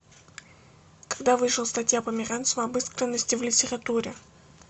когда вышла статья померанцева об искренности в литературе